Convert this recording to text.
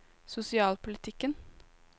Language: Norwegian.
sosialpolitikken